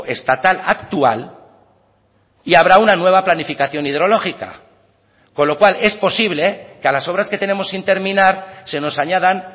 estatal actual y habrá una nueva planificación hidrológica con lo cual es posible que a las obras que tenemos sin terminar se nos añadan